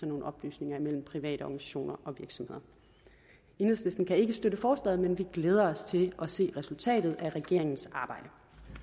nogle oplysninger med private organisationer og virksomheder enhedslisten kan ikke støtte forslaget men vi glæder os til at se resultatet af regeringens arbejde